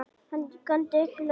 Hann góndi upp í loftið!